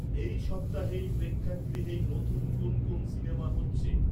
এই সপ্তাহেই প্রেক্ষাগৃহেই নতুন কোন কোন সিনেমা হচ্ছে?